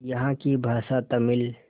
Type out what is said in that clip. यहाँ की भाषा तमिल